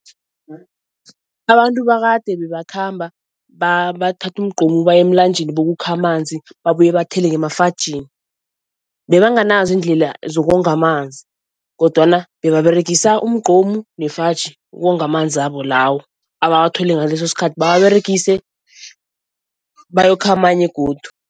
Abantu bakade bebakhamba bathathe umgqomu bayemlanjeni bokukha amanzi babuye bathele ngemafajini. Bebanganazo iindlela zokonga amanzi kodwana bebaregisa umgqomu nefaji ukonga amanzabo lawo abawathole ngaleso skhathi, bawaberegise, bayokha amanye godu.